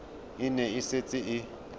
e ne e setse e